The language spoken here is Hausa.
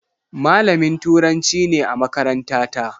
Malamin Turanci ne a makarantata.